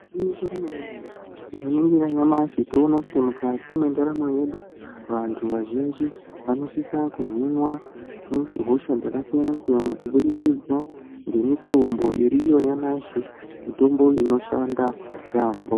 Igwinyiso remene mene tikaningira nyamashi tinoona kuti mukati mendaramo yedu vantu vazhinji vanosisa kuhinwa hosha dzakasiyana siyana kubudikidza ngemitombo iriyo nyamashi mitombo inoshanda yambo.